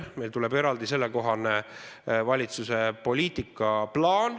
Meil tuleb valitsuselt selle kohta eraldi poliitika plaan.